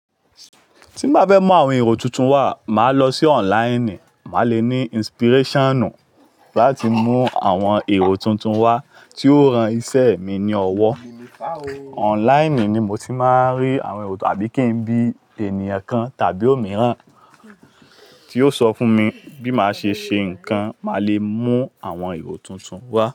Tí bá fẹ́ mú àwọn èrò tuntun wá, màá lọ sí online, màá le ní inspiration láti mú àwọn èrò tuntun wá tí ó ran iṣẹ́ mi ní ọwọ́. Online ni mo ti máa ń rí àwọn èrò tàbí kí n bí ènìyàn kan tàbí òmíràn tí yóò sọ fún mi bí màá ṣe ṣe nǹkan, màá le mú àwọn èrò tuntun wá.